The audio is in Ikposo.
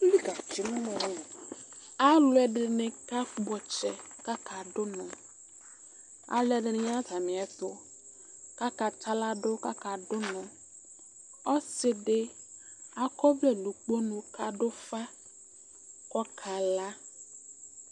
ɛlʋɛdini kakpɔ tsɛ dʋnɔ alʋɛdini ya natamiɛtʋ kaka tsa ɣladʋ kaka dʋ ʋnɔ ɔsidi akɔvlɛ nʋ ʋkponʋ kadʋ ʋƒa kɔkala